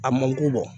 A man ko bɔ